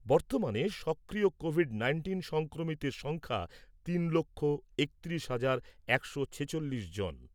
বর্তমানে সক্রিয় COVID nineteen সংক্রমিতের সংখ্যা তিন লক্ষ একত্রিশ হাজার একশো ছেচল্লিশ জন ।